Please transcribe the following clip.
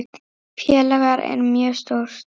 Félagið er mjög stórt.